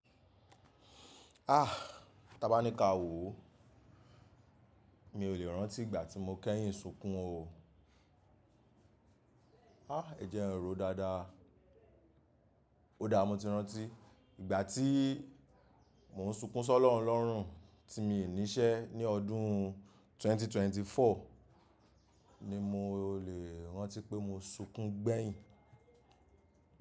Ah! Taba ni ka wo o. Mi o le ranti igba ti mo keyin sunkun o. Ah! Ẹjẹ n ro daada. O da mo ti ranti. Igba ti mo n sunkun sọ lọrun lọrun ti mii ni ise ni ọdun 2024 ni mo le ranti pe mo sunkun gbẹyin.